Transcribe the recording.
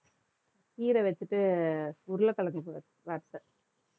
கீரை வச்சுட்டு, உருளைக்கிழங்கு வறு~ வறுத்தேன்